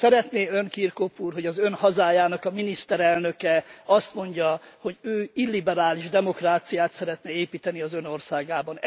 Szeretné Ön, Kirkhope úr, hogy az Ön hazájának a miniszterelnöke azt mondja, hogy ő illiberális demokráciát szeretne építeni az Ön országában?